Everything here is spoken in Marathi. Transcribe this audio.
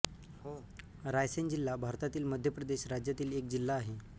रायसेन जिल्हा भारतातील मध्य प्रदेश राज्यातील एक जिल्हा आहे